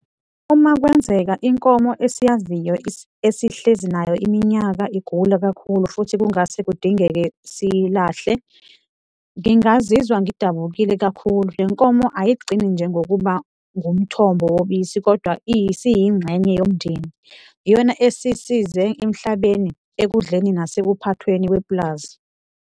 Uma kwenzeka inkomo esiyaziyo esihlezi nayo iminyaka igula kakhulu futhi kungase kudingeke siyilahle, ngingazizwa ngidabukile kakhulu. Le nkomo ayigcini nje ngokuba ngumthombo wobisi kodwa isiyingxenye yomndeni, iyona esisize emhlabeni, ekudleni nasekuphathweni kwepulazi.